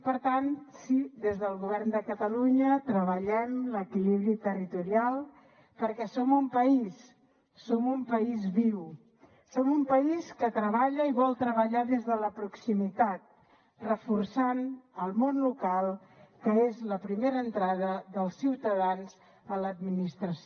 per tant sí des del govern de catalunya treballem l’equilibri territorial perquè som un país som un país viu som un país que treballa i vol treballar des de la proximitat reforçant el món local que és la primera entrada dels ciutadans a l’administració